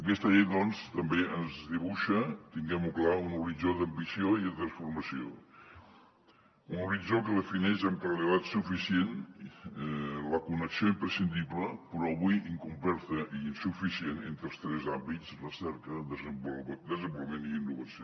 aquesta llei doncs també ens dibuixa tinguem ho clar un horitzó d’ambició i de transformació un horitzó que defineix amb claredat suficient la connexió imprescindible però avui incompleta i insuficient entre els tres àmbits recerca desenvolupament i innovació